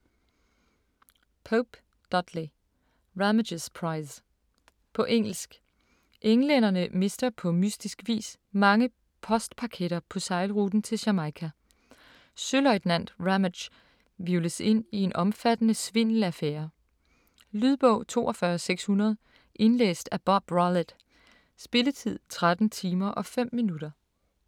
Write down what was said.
Pope, Dudley: Ramage's prize På engelsk. Englænderne mister på mystisk vis mange postpaketter på sejlruten til Jamaica. Søløjtnant Ramage hvirvles ind i en omfattende svindelaffære. Lydbog 42600 Indlæst af Bob Rollett Spilletid: 13 timer, 5 minutter.